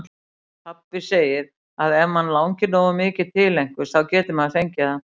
Pabbi segir að ef mann langi nógu mikið til einhvers, þá geti maður fengið það.